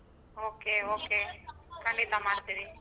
Okay okay ಖಂಡಿತ ಮಾಡ್ತೀನಿ.